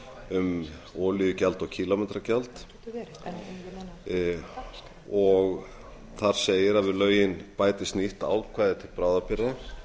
um olíugjald og kílómetragjald þar segir við lögin bætist nýtt ákvæði til bráðabirgða